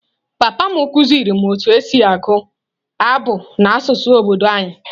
Papa m kụziiri m otú e si agụ abụ n’asụsụ obodo anyị.